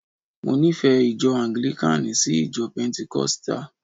Mo nífẹ̀ẹ́ ìjọ anglikani sí ìjọ pentenkosita